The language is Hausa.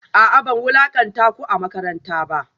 A'a ban wulakanta ku a makaranta ba